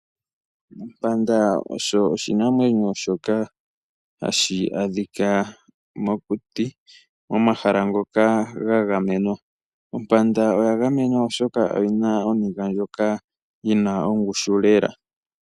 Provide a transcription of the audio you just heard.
Ompanda osho oshinamwenyo shoka hashi adhika mokuti momahala ngoka gagamenwa. Ompanda oya gamenwa oshoka oyina oniga ndjoka yina ongushu lela.